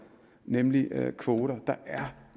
nemlig kvoter der er